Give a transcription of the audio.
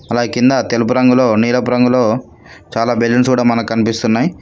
అలా కింద తెలుపు రంగులో నీలపు రంగులో చాలా బెలూన్స్ కూడా మనకు కనిపిస్తున్నాయ్.